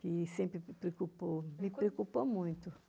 que sempre me preocupou, me preocupou muito.